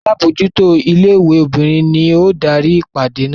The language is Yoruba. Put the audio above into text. Alábòójútó ilé-ìwé obìnrin ni ó darí ìpàdé náà.